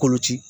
Koloci